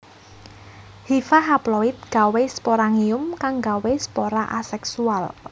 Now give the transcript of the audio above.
Hifa haploid gawé sporangium kang gawé spora aséksual